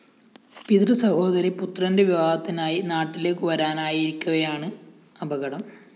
പിതൃസഹോദരി പുത്രന്റെ വിവാഹത്തിനായി നാട്ടിലേക്കു വരാനായി ഇരിക്കവെയാണ് അപകടം